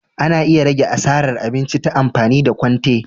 Ana iya rage asaran abinci ta amfani da kwante.